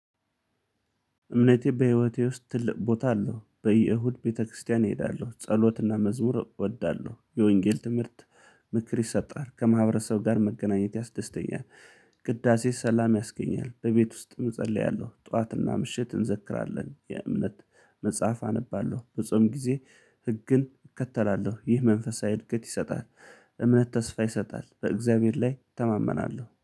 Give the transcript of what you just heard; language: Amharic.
እምነቴ በህይወቴ ውስጥ ትልቅ ቦታ አለው በየእሁድ ቤተክርስቲያን እሄዳለሁ ጸሎትና መዝሙር እወዳለሁ የወንጌል ትምህርት ምክር ይሰጣል ከማህበረሰብ ጋር መገናኘት ያስደስተኛል። ቅዳሴ ሰላም ያስገኛል በቤት ውስጥ እጸልያለሁ ጠዋትና ምሽት እንዘክራለን የእምነት መጽሐፍ አነባለሁ በጾም ጊዜ ህግን እከተላለሁ ይህ መንፈሳዊ እድገት ይሰጣል። እምነት ተስፋ ይሰጣል በእግዚአብሔር ላይ እተማመናለሁ